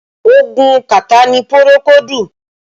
Oogun kàtá ni pùròkódù